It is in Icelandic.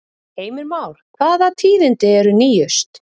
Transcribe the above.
Heimir Már, hvaða tíðindi eru nýjust?